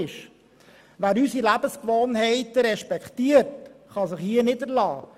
Wer unsere Lebensgewohnheiten respektiert, kann sich hier niederlassen.